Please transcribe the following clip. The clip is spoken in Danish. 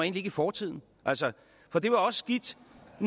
ikke i fortiden altså for det var også skidt